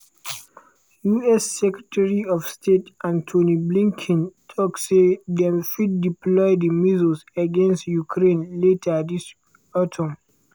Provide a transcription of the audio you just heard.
us secretary of state anthony blinken tok say dem fit deploy di missiles against ukraine later dis autumn.